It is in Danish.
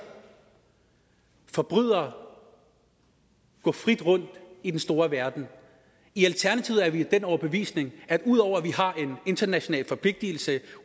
forbrydere gå frit rundt i den store verden i alternativet er vi af den overbevisning at udover at vi har en international forpligtelse